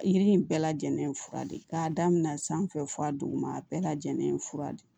Yiri in bɛɛ lajɛlen ye fura de ye k'a daminɛ san fɛ fɔ a duguma a bɛɛ lajɛlen ye fura de ye